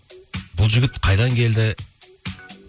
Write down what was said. бұл жігіт қайдан келді